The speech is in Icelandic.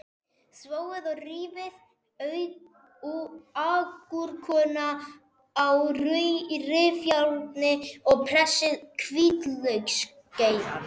Þvoið og rífið agúrkuna á rifjárni og pressið hvítlauksgeirann.